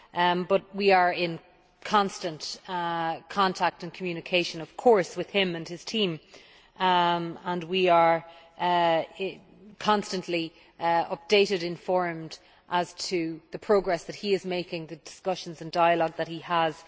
However, we are in constant contact and communication of course with him and his team. We are constantly updated and informed as to the progress that he is making and the discussions and dialogue which he has.